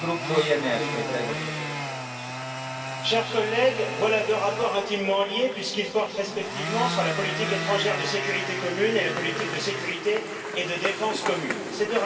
Monsieur le Président, chers collègues, voilà deux rapports intimement liés puisqu'ils portent, respectivement, sur la politique étrangère et de sécurité commune et la politique de sécurité et de défense commune Ces